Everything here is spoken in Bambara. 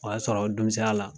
O y'a sɔrɔ dumusɛnya la